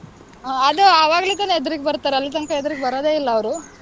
ಆಹ್ ಅದು ಆವಾಗ್ಲೇ ತಾನೆ ಎದ್ರಿಗ್ ಬರ್ತಾರೆ. ಅಲ್ಲಿ ತನಕ ಎದ್ರಿಗ್ ಬರದೇ ಇಲ್ಲಾ ಅವ್ರು.